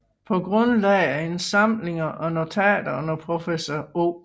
Paa grundlag af indsamlinger og notater under professor O